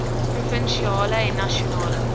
provinsiale en nasionale